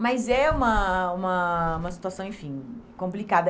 Mas é uma uma uma situação, enfim, complicada.